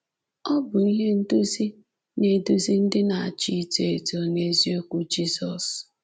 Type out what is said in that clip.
Ọ bụ ihe nduzi na-eduzi ndị na-achọ ịtọ eto n'eziokwu Jizọs”.